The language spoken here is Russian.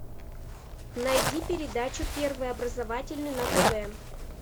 найди передачу первый образовательный на тв